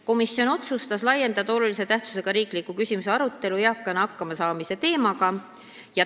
Komisjon otsustas laiendada olulise tähtsusega riikliku küsimuse arutelu eakana hakkama saamise teemaga.